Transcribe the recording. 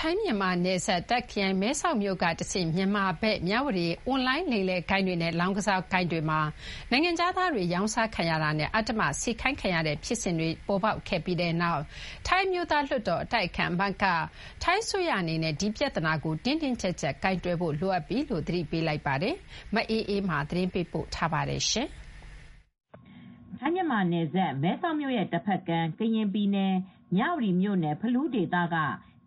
ထိုင်း-မြန်မာနယ်စပ် တာ့ခ်ခရိုင် မဲဆောက်မြို့ကတဆင့် မြန်မာဘက် မြဝတီအွန်လိုင်းလိမ်လည်ဂိုဏ်းတွေ လောင်းကစားဝိုင်းတွေမှာ နိုင်ငံတကာက နိုင်ငံခြားသားတွေရောင်းစားခံရတာ၊ အတင်းအကြပ်အလုပ်စေခိုင်းခံရတာတွေ ခပ်စိတ်စိတ်ဖြစ်လာပြီးတဲ့နောက် ဒီပြဿနာကိုဖြေရှင်းဖို့ ထိုင်းအမျိုးသားလွှတ်တော် အတိုက်အခံအမတ်က ထိုင်းအစိုးရအနေနဲ့ဒီပြဿနာကို တင်းတင်းကြပ်ကြပ်ကိုင်တွယ်ဖို့လိုအပ်လာပြီလို့ သတိပေးလိုက်ပါတယ်။ ဒီသတင်းကို ဗွီအိုအေသတင်းထောက်မအေးအေးမာက သတင်းပေးပို့ထားပါတယ်။ ထိုင်း-မြန်မာနယ်စပ် မဲဆောက်မြို့ရဲ့တဘက်ကမ်း ကရင်ပြည်နယ် မြဝတီမြို့နယ် ဖလူးဒေသက